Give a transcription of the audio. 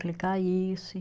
Que ele caísse.